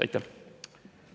Aitäh!